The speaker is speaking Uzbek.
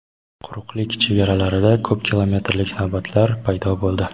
quruqlik chegaralarida ko‘p kilometrlik navbatlar paydo bo‘ldi.